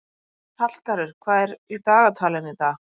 Hallgarður, hvað er í dagatalinu í dag?